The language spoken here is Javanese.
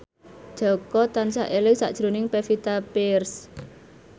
Jaka tansah eling sakjroning Pevita Pearce